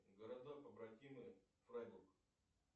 города побратимы фрайбург